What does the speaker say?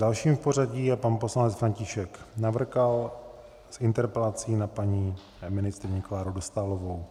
Další v pořadím je pan poslanec František Navrkal s interpelací na paní ministryni Kláru Dostálovou.